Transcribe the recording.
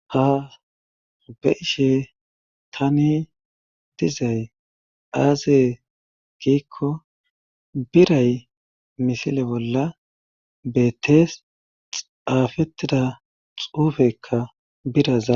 ha be7ishe tani dizay aazee giikko biiray misile bolla betees xaafettida xuufekka birazaa